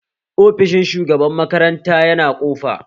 Ofishin shugaban makaranta yana ƙofa?